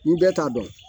Ni bɛɛ t'a dɔn